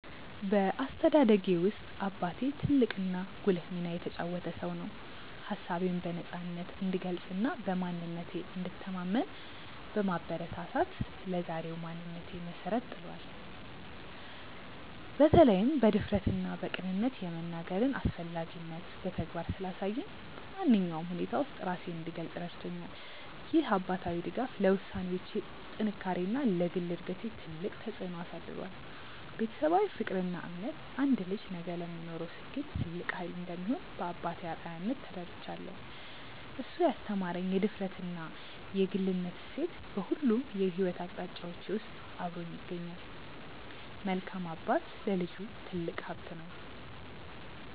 በአስተዳደጌ ውስጥ አባቴ ትልቅና ጉልህ ሚና የተጫወተ ሰው ነው። ሀሳቤን በነፃነት እንድገልጽና በማንነቴ እንድተማመን በማበረታታት ለዛሬው ማንነቴ መሰረት ጥሏል። በተለይም በድፍረትና በቅንነት የመናገርን አስፈላጊነት በተግባር ስላሳየኝ፣ በማንኛውም ሁኔታ ውስጥ ራሴን እንድገልጽ ረድቶኛል። ይህ አባታዊ ድጋፍ ለውሳኔዎቼ ጥንካሬና ለግል እድገቴ ትልቅ ተጽዕኖ አሳድሯል። ቤተሰባዊ ፍቅርና እምነት አንድ ልጅ ነገ ለሚኖረው ስኬት ትልቅ ኃይል እንደሚሆን በአባቴ አርአያነት ተረድቻለሁ። እሱ ያስተማረኝ የድፍረትና የግልነት እሴት በሁሉም የሕይወት አቅጣጫዎቼ ውስጥ አብሮኝ ይገኛል። መልካም አባት ለልጁ ትልቅ ሀብት ነው።